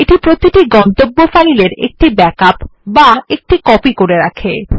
এই প্রতিটি গন্তব্য ফাইলের একটি ব্যাকআপ করে তোলে